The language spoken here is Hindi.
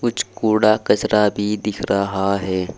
कूड़ा कचरा भी दिख रहा है।